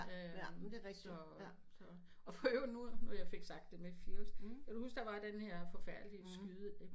Øh så så for i øvrigt nu fik jeg sagt det med fields kan du huske der var den her forfærdelige skyde epi